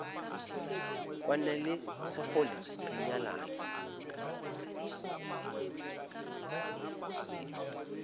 kwane le sekgole re nyalane